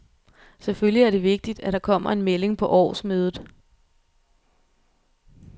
Selvfølgelig er det vigtigt, at der kommer en melding på årsmødet.